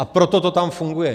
A proto to tam funguje.